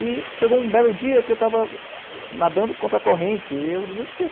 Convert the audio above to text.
E chegou um belo dia que eu estava nadando contra a corrente e eu desisti.